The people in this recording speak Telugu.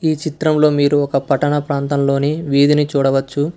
ఈ చిత్రంలో మీరు ఒక పట్టణ ప్రాంతంలోని వీధిని చూడవచ్చు.